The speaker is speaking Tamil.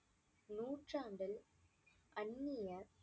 நூற்றாண்டில் அன்னிய